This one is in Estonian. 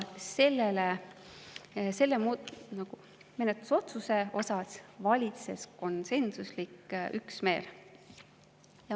Selle menetlusotsuse puhul valitses konsensuslik üksmeel.